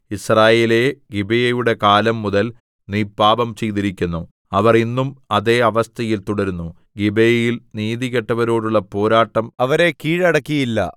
യിസ്രായേലേ ഗിബെയയുടെ കാലം മുതൽ നീ പാപം ചെയ്തിരിക്കുന്നു അവർ ഇന്നും അതേ അവസ്ഥയിൽ തുടരുന്നു ഗിബെയയിൽ നീതികെട്ടവരോടുള്ള പോരാട്ടം അവരെ കീഴടക്കിയില്ല